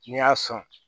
N'i y'a sɔn